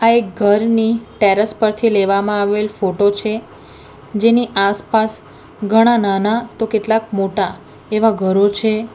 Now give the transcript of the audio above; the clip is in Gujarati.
આ એક ઘરની ટેરેસ પરથી લેવામાં આવેલ ફોટો છે જેની આસપાસ ઘણા નાના તો કેટલાક મોટા એવા ઘરો છે.